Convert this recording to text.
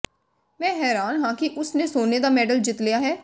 ਮੈਂ ਹੈਰਾਨ ਹਾਂ ਕਿ ਉਸ ਨੇ ਸੋਨੇ ਦਾ ਮੈਡਲ ਜਿੱਤ ਲਿਆ ਹੈ